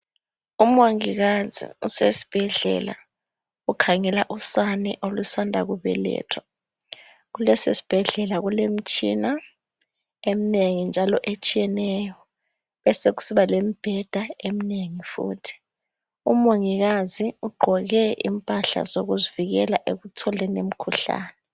Umongikazi usesibhedlela ukhangela usane olusandakubelethwa kulesisibhedlela kulemitshina eminengi njalo etshiyeneyo besekusiba lemibheda eminengi futhi umongikazi ugqoke impahla zokuzivikela ekutholeni imikhuhlane